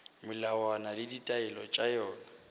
melawana le ditaelo tša yona